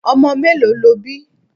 Omo mélòó lo bí?